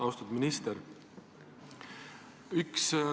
Austatud minister!